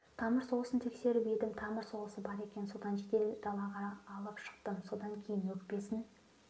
тамыр соғысын тексеріп едім тамыр соғысы бар екен содан жедел далаға алып шықтым содан кейін өкпесін